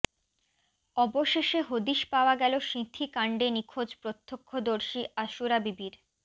অবশেষে হদিশ পাওয়া গেল সিঁথিকাণ্ডে নিখোঁজ প্রত্যক্ষদর্শী আসুরা বিবির